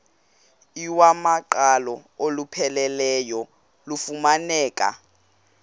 iwamaqhalo olupheleleyo lufumaneka